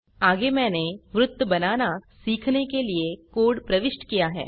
आगे मैंने वृत्त बनाना सीखने के लिए कोड़ प्रविष्ट किया है